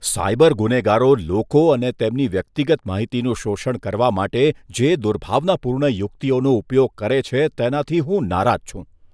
Cyber ગુનેગારો લોકો અને તેમની વ્યક્તિગત માહિતીનું શોષણ કરવા માટે જે દુર્ભાવનાપૂર્ણ યુક્તિઓનો ઉપયોગ કરે છે, તેનાથી હું નારાજ છું.